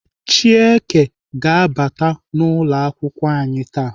Chieke ga-abata n'ụlọakwụkwọ anyị taa.